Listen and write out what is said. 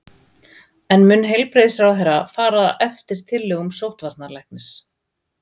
En mun heilbrigðisráðherra fara eftir tillögum sóttvarnalæknis?